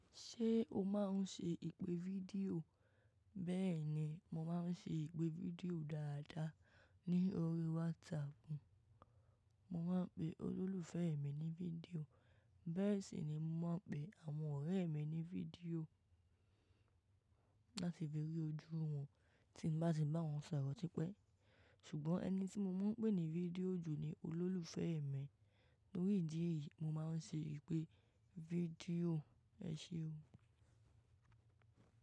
Ṣé o máa ń ṣe ìpè fídíò? Bẹ́ẹ̀ ni, mo máa ń ṣe ìpè fídíò dáadáa ní orí WhatsApp. Mo máa ń pe olólùfẹ́ mi ní fídíò, bẹ́ẹ̀ sì ni mo máa ń pe àwọn ọ̀rẹ́ mi ní fídíò láti fi ri ojú wọn tí mo bá ti bá wọn sọ̀rọ̀ tipẹ́. Ṣùgbọ́n ẹni tí mo mọ ń pè ní fídíò jù ni olólùfẹ́ mi. Torí ìdí èyí, mo máa ń ṣe ìpè fídíò. Ẹ ṣe o.